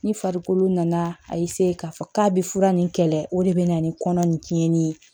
Ni farikolo nana k'a fɔ k'a bɛ fura nin kɛlɛ o de bɛ na ni kɔnɔ nin tiɲɛni ye